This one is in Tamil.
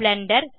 பிளெண்டர்